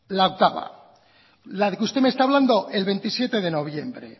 la octava la de que usted me está hablando el veintisiete de noviembre